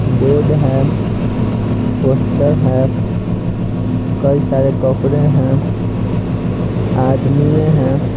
Board है poster है कई सारे कपड़े हैं आदमिये हैं।